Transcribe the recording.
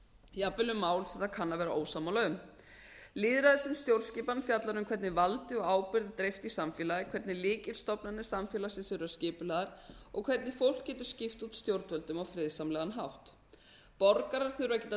jafnvel um mál sem það kann að vera ósammála um lýðræði sem stjórnskipan fjallar um hvernig valdi og ábyrgð er dreift í samfélagi hvernig lykilstofnanir samfélagsins eru skipulagðar og hvernig fólk getur skipt út stjórnvöldum á friðsamlegan hátt borgarar þurfa að geta